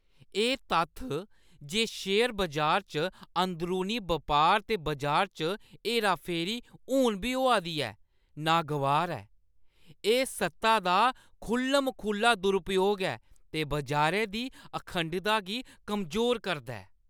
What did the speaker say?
एह् तत्थ जे शेयर बजार च अंदरूनी बपार ते बजार च हेराफेरी हून बी होआ दी ऐ, नागवार ऐ। एह् सत्ता दा खु'ल्लम-खु'ल्ला दुरूपयोग ऐ ते बजारै दी अखंडता गी कमजोर करदा ऐ।